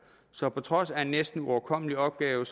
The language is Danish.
så på trods af en næsten uoverkommelig opgave